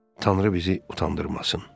Tanrı bizi utandırmasın.